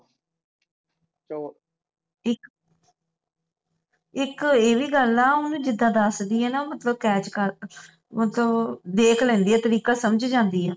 ਇੱਕ ਇੱਕ ਏਵੀ ਗੱਲ ਆ ਓਹਨੂੰ ਜਿੱਦਾਂ ਦੱਸ ਦੇਈਏ ਨਾ ਮਤਲਬ cash ਕਰ ਮਤਲਬ ਦੇਖ ਲੈਂਦੀ ਹੈ ਤਰੀਕਾ ਸਮਝ ਜਾਂਦੀ ਹੈ